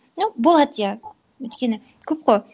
ну болады иә өйткені көп қой